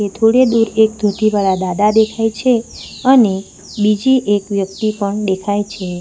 થોડે દૂર એક ધોતી વાળા દાદા દેખાય છે અને બીજી એક વ્યક્તિ પણ દેખાય છે.